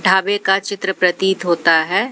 ढाबे का चित्र प्रतीत होता है।